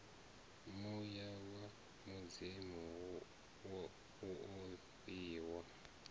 muya wa mudzimu wo fhiwa